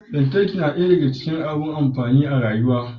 Lantarki na daya daka cikin abu masu amfani a rayuwar